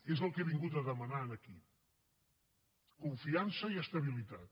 és el que he vingut a demanar aquí confiança i estabilitat